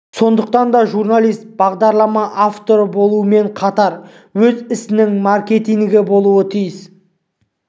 сондықтан да журналист бағдарлама авторы болумен қатар өз ісінің маркетингі болуы тиіс